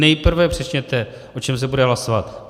Nejprve řekněte, o čem se bude hlasovat.